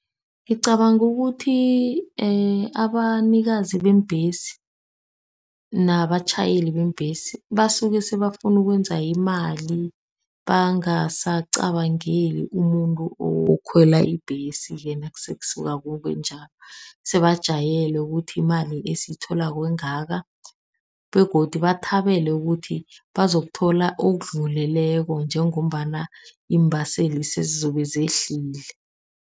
Ngicabanga ukuthi abanikazi beembhesi nabatjhayeli beembhesi, basuke sebafuna ukwenza imali bangasacabangeli umuntu okhwela ibhesi, nasekusuka kubenjalo. Sebajayele ukuthi imali esiyitholako ingaka, begodu bathabele ukuthi bazokuthola okudluleleko njengombana iimbaseli sezizobe zehlile.